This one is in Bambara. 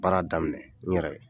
Baara daminɛ n yɛrɛ ye.